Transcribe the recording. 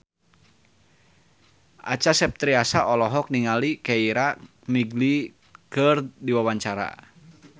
Acha Septriasa olohok ningali Keira Knightley keur diwawancara